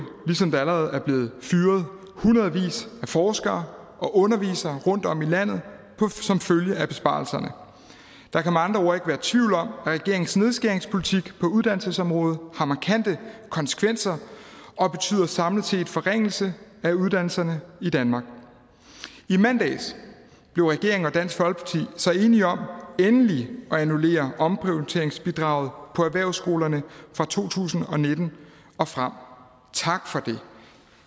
ligesom der allerede er blevet fyret hundredvis af forskere og undervisere rundtom i landet som følge af besparelserne der kan med andre ord ikke være tvivl om at regeringens nedskæringspolitik på uddannelsesområdet har markante konsekvenser og samlet set betyder forringelse af uddannelserne i danmark i mandags blev regeringen og dansk folkeparti så enige om endelig at annullere omprioriteringsbidraget på erhvervsskolerne for to tusind og nitten og frem tak for det